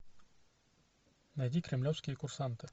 найди кремлевские курсанты